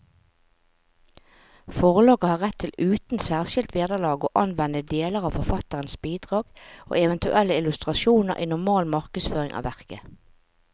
Forlaget har rett til uten særskilt vederlag å anvende deler av forfatterens bidrag og eventuelle illustrasjoner i normal markedsføring av verket.